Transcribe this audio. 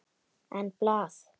En blað?